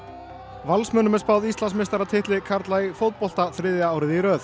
Valsmönnum er spáð Íslandsmeistaratitli karla í fótbolta þriðja árið í röð